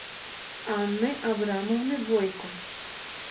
анны абрамовны бойко